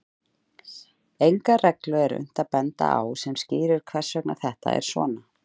Enga reglu er unnt að benda á sem skýrir hvers vegna þetta er svona.